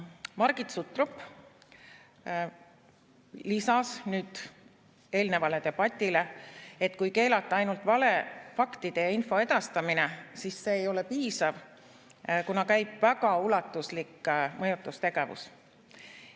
Margit Sutrop lisas eelnenud debatile, et kui keelata ainult valefaktide ja ‑info edastamine, siis see ei ole piisav, kuna käib väga ulatuslik mõjutustegevus.